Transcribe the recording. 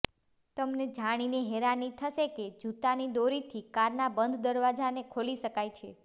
તમને જાણીને હેરાની થસે કે જૂતાની દોરીથી કારના બંધ દરવાજાને ખોલી શકાય છે